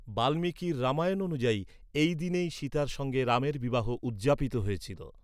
বাল্মীকির রামায়ণ অনুযায়ী, এই দিনেই সীতার সঙ্গে রামের বিবাহ উদযাপিত হয়েছিল।